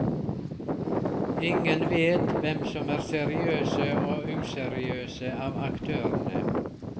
Ingen vet hvem som er seriøse og useriøse av aktørene.